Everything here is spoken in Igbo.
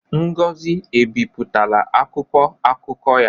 Ngozi ebipụtala akwụkwọ akụkọ ya?